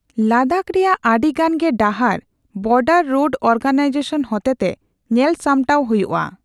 ᱞᱟᱫᱟᱠ ᱨᱮᱭᱟᱜ ᱟᱹᱰᱤ ᱜᱟᱱ ᱜᱮ ᱰᱟᱦᱟᱨ ᱵᱚᱨᱰᱟᱨ ᱨᱳᱰ ᱚᱨᱜᱟᱱᱟᱭᱡᱮᱥᱚᱱ ᱦᱚᱛᱮᱛᱮ ᱧᱮᱞᱼᱥᱟᱢᱴᱟᱣ ᱦᱩᱭᱩᱜ ᱟ ᱾